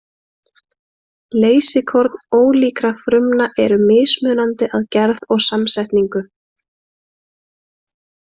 Leysikorn ólíkra frumna eru mismunandi að gerð og samsetningu.